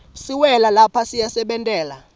siwela lapha siyasebentela